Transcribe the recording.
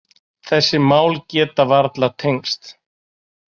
Þessi mál geta varla tengst.